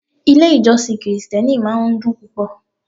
Ilé-ìjọsìn Kirìtẹ́nì máa ń dùn púpò.